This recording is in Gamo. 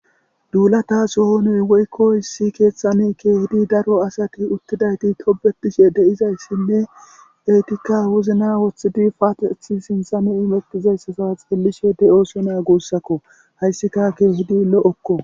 duulata sohonoy woykko hissi keeththami keehidi daro asati uttidayti tobetishe de7izayssinne etikka wuzna woththidi paaethi sinthami imettizayssasa xeelishe de7osonea guussakko hayssika ke hudi lo7okko